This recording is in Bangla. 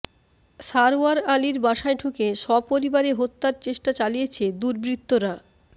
সারওয়ার আলীর বাসায় ঢুকে সপরিবারে হত্যার চেষ্টা চালিয়েছে দুর্বৃত্তরা